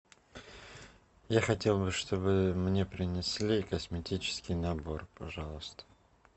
я хотел бы чтобы мне принесли косметический набор пожалуйста